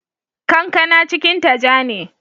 Kankana cikinta ja ne.